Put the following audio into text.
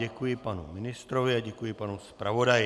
Děkuji panu ministrovi a děkuji panu zpravodaji.